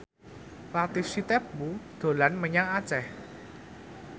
Latief Sitepu dolan menyang Aceh